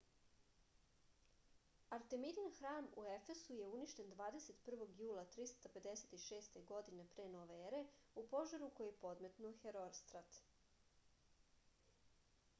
artemidin hram u efesu je uništen 21. jula 356. godine p.n.e. u požaru koji je podmetnuo herostrat